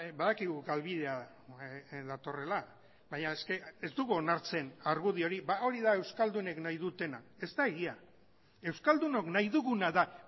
badakigu galbidea datorrela baina ez dugu onartzen argudio hori hori da euskaldunek nahi dutena ez da egia euskaldunok nahi duguna da